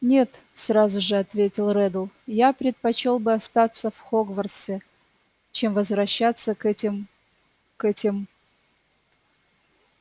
нет сразу же ответил реддл я предпочёл бы остаться в хогвартсе чем возвращаться к этим к этим